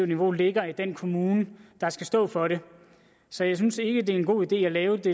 niveau ligger i den kommune der skal stå for det så jeg synes ikke det er en god idé at lave det